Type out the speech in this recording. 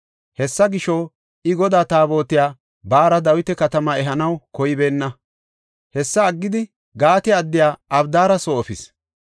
Hessa gisho, I Godaa Taabotiya baara Dawita Katamaa ehanaw koybeenna. Hessa aggidi Gaate addiya Abidaara soo efis.